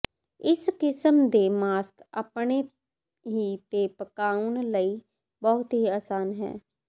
ਇਸ ਕਿਸਮ ਦੇ ਮਾਸਕ ਆਪਣੇ ਹੀ ਤੇ ਪਕਾਉਣ ਲਈ ਬਹੁਤ ਹੀ ਆਸਾਨ ਹੈ